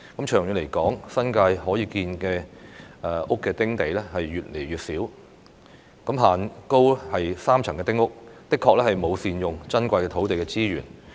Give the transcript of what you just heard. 長遠來說，新界可建屋的"丁地"越來越少，限高3層的丁屋的確沒有善用珍貴的土地資源。